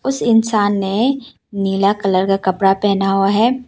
इंसान ने नीला कलर का कपड़ा पहना हुआ है।